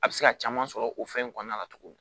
A bɛ se ka caman sɔrɔ o fɛn in kɔnɔna la tuguni